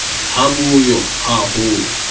ha bo yo ha ho